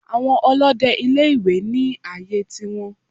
Àwọn Olóde ilé ìwé ní àyè tiwọn